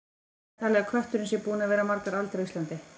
Hvað er talið að kötturinn sé búinn að vera margar aldir á Íslandi?